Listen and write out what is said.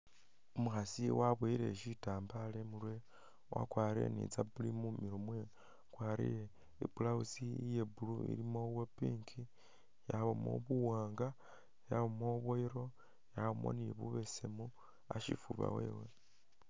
Umukhaasi waboyele shitambaala imurwe, wakwarire ne izabuli mumilo mwewe akwarire i'blouse iye blue ilimo bwa pink, yabaamo buwanga, yabaamo bwa yellow, yabaamo ne bubesemu ashifuuba wewe.